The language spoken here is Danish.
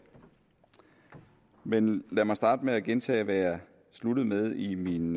men lad mig starte med at gentage hvad jeg sluttede med i min